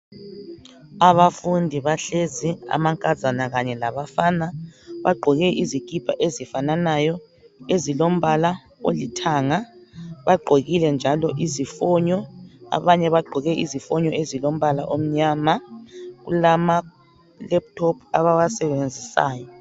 Abafundi bahlezi amankazana kanye labafana bagqoke izikipa ezifananayo ezilombala olithanga. Bagqokile njalo izifonyo abanye bagqoke izifonyo ezilombala omnyama. Kulamalaptop abawasebenzisayo.